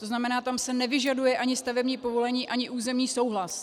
To znamená, tam se nevyžaduje ani stavební povolení, ani územní souhlas.